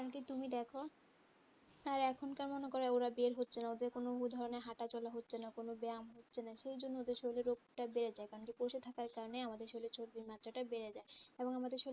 কারণ কি তুমি দেখ আর এখন কেমন করে ওরা বের হচ্ছেনা ওদের কোনো ওই ধরনের হাঁটাচলা হচ্ছেনা কোনো ব্যায়াম হচ্ছেনা সেই জন্য ওদের শরীরে রোগটা বেড়ে যায় কারণ কি বসে থাকার কারণে আমাদের শরীরে চর্বির মাত্রাটা বেড়ে যায় এবং আমাদের শরীরে